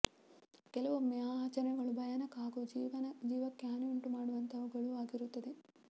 ಕೆಲವೊಮ್ಮೆ ಆ ಆಚರಣೆಗಳು ಭಯಾನಕ ಹಾಗೂ ಜೀವಕ್ಕೆ ಹಾನಿಯುಂಟು ಮಾಡುವಂತವುಗಳೂ ಆಗಿರುತ್ತವೆ